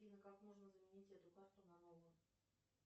афина как можно заменить эту карту на новую